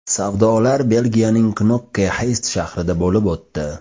Savdolar Belgiyaning Knokke-Xeyst shahrida bo‘lib o‘tdi.